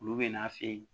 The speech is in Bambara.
Olu bɛ n'a fɛ yen